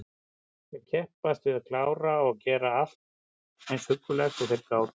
Þeir kepptust við að klára og gera allt eins huggulegt og þeir gátu.